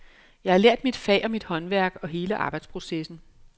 Jeg har lært mit fag og mit håndværk og hele arbejdsprocessen.